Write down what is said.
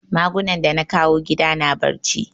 Magunan da na kawo gida na barci